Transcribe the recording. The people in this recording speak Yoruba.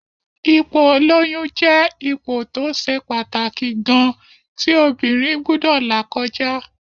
Ipò ìlóyún jẹ́ ipò tó ṣe pàtàkì gan-an tí obìnrin gbúdọ̀ là kọjá